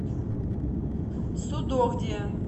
судогде